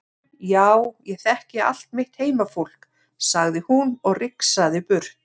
Já ég þekki allt mitt heimafólk, sagði hún og rigsaði burt.